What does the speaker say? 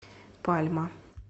пальма